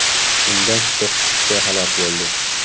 Unda to‘qqiz kishi halok bo‘ldi.